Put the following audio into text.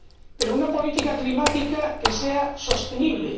Pero una política climática que sea sostenible.